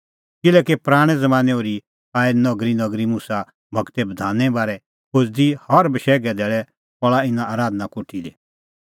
किल्हैकि पराणैं ज़मानैं ओर्ही आऐ नगरीनगरी मुसा गूरे बधाने बारै खोज़दी और हर बशैघे धैल़ै पहल़ा इना आराधना कोठी दी